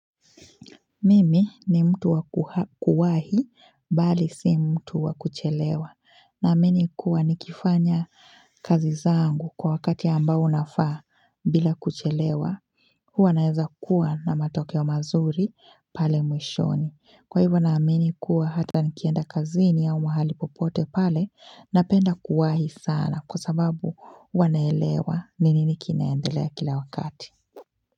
Mimi ni mtu wa kuwahi bali si mtu wa kuchelewa naamini kuwa nikifanya kazi zangu kwa wakati ambao unafaa bila kuchelewa huwa naeza kuwa na matokeo mazuri pale mwishoni kwa hivyo naamini kuwa hata nikienda kazini au mahali popote pale napenda kuwahi sana kwa sababu huwa naelewa ni nini kinaendelea kila wakati.